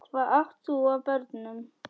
Hvað átt þú af börnum?